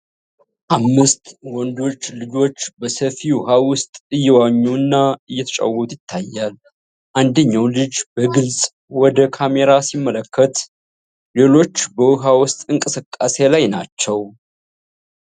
አምስት ወንዶች ልጆች በሰፊ ውሃ ውስጥ እየዋኙ እና እየተጫወቱ ይታያል። አንደኛው ልጅ በግልጽ ወደ ካሜራ ሲመለከት፣ ሌሎቹ በውሃ ውስጥ እንቅስቃሴ ላይ ናቸው።